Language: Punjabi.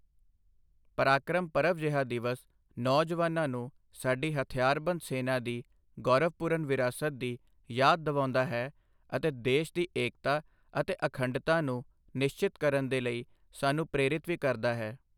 ਪਰਾਕ੍ਰਮ ਪਰਵ ਜਿਹਾ ਦਿਵਸ ਨੌਜਵਾਨਾਂ ਨੂੰ ਸਾਡੀ ਹਥਿਆਰਬੰਦ ਸੈਨਾ ਦੀ ਗੌਰਵਪੂਰਨ ਵਿਰਾਸਤ ਦੀ ਯਾਦ ਦਿਵਾਉਂਦਾ ਹੈ ਅਤੇ ਦੇਸ਼ ਦੀ ਏਕਤਾ ਅਤੇ ਅਖੰਡਤਾ ਨੂੰ ਨਿਸ਼ਚਿਤ ਕਰਨ ਦੇ ਲਈ ਸਾਨੂੰ ਪ੍ਰੇਰਿਤ ਵੀ ਕਰਦਾ ਹੈ।